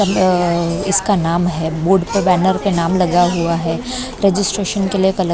अ इसका नाम है बोर्ड पर बैनर के नाम लगा हुआ है रजिस्ट्रेशन के लिए कल--